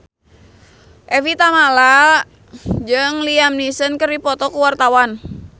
Evie Tamala jeung Liam Neeson keur dipoto ku wartawan